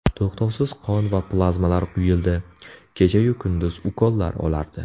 To‘xtovsiz qon va plazmalar quyildi, kechayu kunduz ukollar olardi.